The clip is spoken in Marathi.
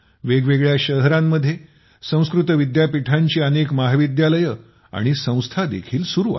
वेग वेगळ्या शहरांमध्ये संस्कृत विद्यापीठांची अनेक महाविद्यालये आणि संस्थादेखील चालू आहेत